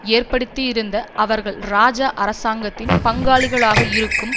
ஏற்படுத்தியிருந்த அவர்கள் இராஜா அரசாங்கத்தின் பங்காளிகளாக இருக்கும்